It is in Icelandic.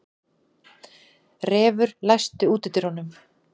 Refur, læstu útidyrunum.